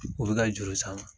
O bɛ ka juru sama